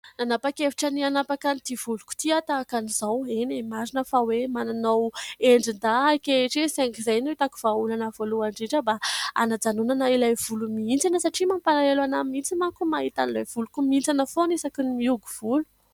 Nanampakaevitra ny hanapaka ity voloko ity tahaka izao eny marina fa hoe mananao endrin-dahy ankehitriny saingy izay no itako vaholana voalohany indrindra mba hanajanonana ilay volo mihintsana, satria mampalalelo ana mihitsy manko mahita an'ilay voloko mihintsana foany isaky ny mihogo volo.